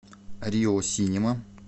рио синема